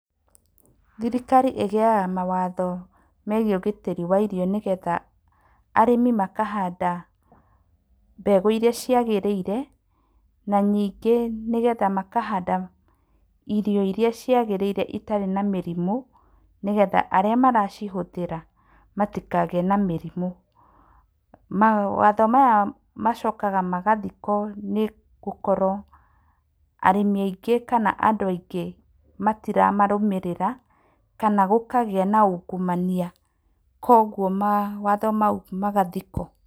Thirikari ĩgĩaga mawatho megiĩ ũgitĩri wa irio nĩgetha arĩmi makahanda mbegũ iria cia gĩrĩire na ningĩ nĩgetha makanda irio iria cia gĩrĩire itarĩ na mĩrimũ nĩgetha arĩa maracihũthĩra matikagĩe na mĩrimũ. Mawatho maya macokaga magathikwo nĩ gũkorwo arĩmi aingĩ kana andũ aingĩ matiramarũmĩrĩra kana gũkagĩa na ungumania kwoguo mawatho mau magathikwo.